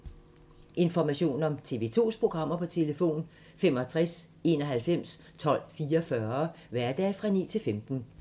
Information om TV 2's programmer: 65 91 12 44, hverdage 9-15.